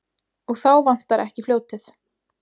Og þá vantar ekki fljótið.